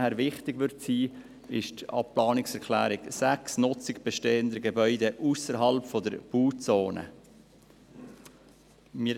Für uns wird sicher die Planungserklärung 6 wichtig sein, in der es um die Nutzung bestehender Gebäude ausserhalb der Bauzone geht.